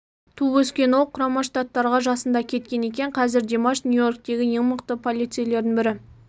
туып өскен ол құрама штаттарға жасында кеткен екен қазір димаш нью-йорктегі ең мықты полицейлердің бірі